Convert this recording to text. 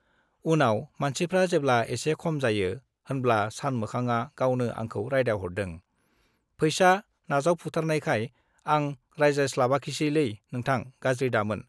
उनाव मानसिफ्रा जेब्ला एसे खम जायो होनब्ला सानमोखांआ गावनो आंखौ रायदावहरदों पैसा नाजावफुथारनायखाय आं रायज्लायस्लाबाखिसैलै नोंथां , गाज्रि दामोन ।